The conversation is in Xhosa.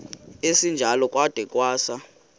esinjalo kwada kwasa